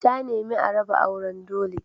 Ta nemi a raba auren dole.